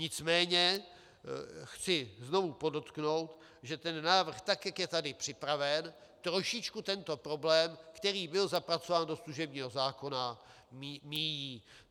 Nicméně chci znovu podotknout, že ten návrh, tak jak je tady připraven, trošičku tento problém, který byl zapracován do služebního zákona, míjí.